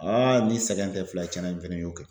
AA nin sɛgɛn ti sɛgɛn ti fila ye cɛn na n fɛnɛ ye kelen kɛ